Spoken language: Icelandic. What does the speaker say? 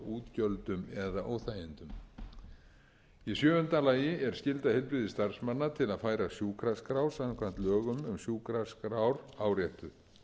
útgjöldum eða óþægindum í sjöunda lagi er skylda heilbrigðisstarfsmanna til að færa sjúkraskrá samkvæmt lögum um sjúkraskrár áréttuð